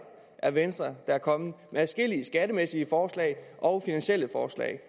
er venstre der er kommet med adskillige skattemæssige forslag og finansielle forslag